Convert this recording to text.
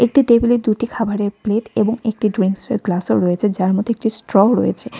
একটি টেবিলের দুটি খাবারের প্লেট এবং একটি ড্রিংকসের গ্লাসও রয়েছে যার মধ্যে একটি স্ট্রও রয়েছে।